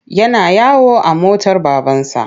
Yana yawo a motar babansa.